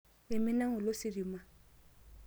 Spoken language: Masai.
Eimina ng'ole ositima.